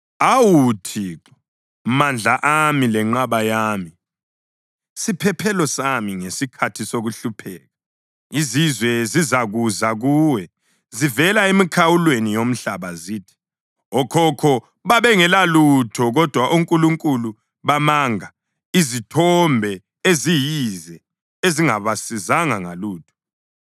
Awu Thixo, mandla ami lenqaba yami, siphephelo sami ngesikhathi sokuhlupheka, izizwe zizakuza kuwe zivela emikhawulweni yomhlaba zithi, “Okhokho babengelalutho kodwa onkulunkulu bamanga, izithombe eziyize ezingabasizanga ngalutho.